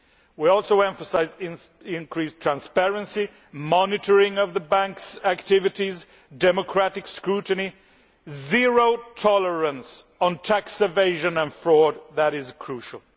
We also emphasise increased transparency, monitoring of the Bank's activities, democratic scrutiny and zero tolerance of tax evasion and fraud as being crucial.